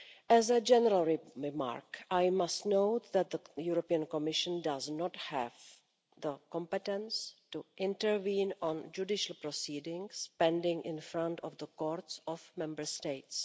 As a general remark, I must note that the European Commission does not have the competence to intervene on judicial proceedings pending in front of the courts of Member States.